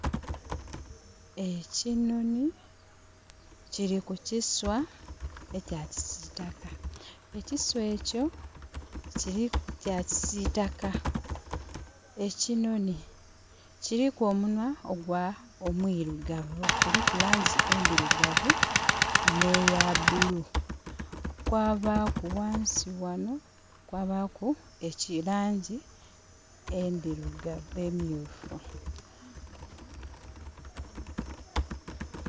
E kinhonhi kili ku kiswa ekya kisiitaka. E kiswa ekyo kya kisiitaka. E kinhonhi kiliku omunhwa ogwa...omwirugavu, kuilku laangi endhirugavu, n'eya blue. Kwabaaku ghansi ghano kwabaku laangi endhirugavu emyuufu.